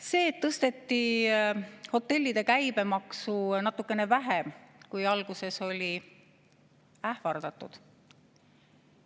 See, et tõsteti hotellide käibemaksu natukene vähem, kui alguses oli ähvardatud.